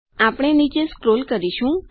આપણે નીચે સ્ક્રોલ કરીશું